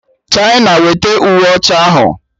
China, wete uwe ọcha ahụ!